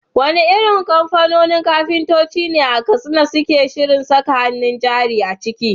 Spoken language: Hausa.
Wane irin kamfanoni kafintoci ne a Katsina suke shirin saka hannun jari a ciki?